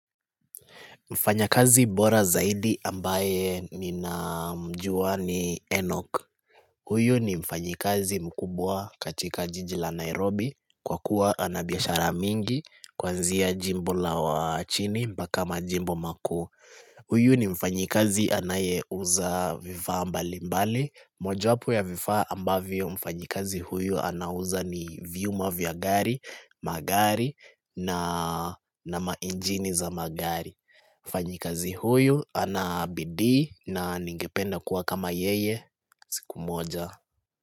Mfanya kazi mbora zaidi ambaye ninamjua ni Enoch Huyu ni mfanyikazi mkubwa katika jiji la Nairobi Kwa kuwa ana biashara mingi Kwanzia jimbo la wachini mpaka majimbo makuu Huyu ni mfanyikazi anayeuza vifaa mbalimbali Mojo wapo ya vifaa ambavyo mfanyikazi huyu anauza ni vyuma vya gari magari na mainjini za magari mfanyikazi huyu ana bidii na ningependa kuwa kama yeye siku moja.